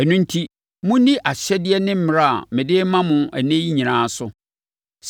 Ɛno enti, monni ahyɛdeɛ ne mmara a mede rema mo ɛnnɛ yi nyinaa so.